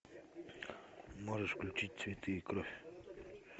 можешь включить цветы и кровь